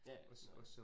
Ja ja, nej